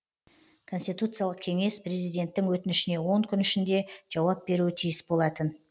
конституциялық кеңес президенттің өтінішіне он күн ішінде жауап беруі тиіс болатын